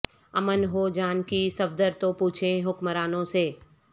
امن ہو جان کی صفدر تو پوچھیں حکمرانوں سے